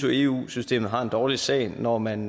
eu systemet har en dårlig sag når man